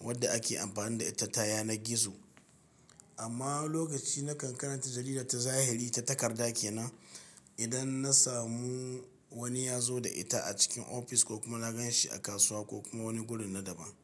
wadda ake amfani da ita ta yanar gizo. Amma lokaci na kan karanta jarida ta zahiri ta takarda ke nan. Idan na samu wani ya zo da ita a cikin ofis ko kuma na gan shi a kasuwa ko kuma wani gurin na daban.